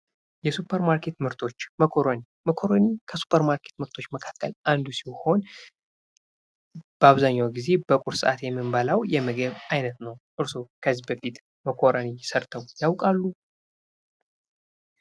የሱፐርማርኬት ምርቶች ፦ መኮረኒ ፦ መኮረኒ ከሱፐርማርኬት ምርቶች መካከል አንዱ ሲሆን በአብዛኛው ጊዜ በቁርስ ሰአት የምንበላው የምግብ አይነት ነው ። እርስዎ ከዚህ በፊት መኮረኒ ሰርተው ያውቃሉ ?